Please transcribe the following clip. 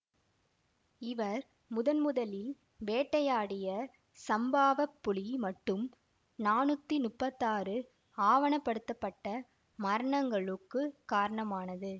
இவர் முதன்முதலில் வேட்டையாடிய சம்பாவத் புலி மட்டும் நானூத்தி முப்பத்தாறு ஆவணப்படுத்தப்பட்ட மரணங்களுக்குக் காரணமானது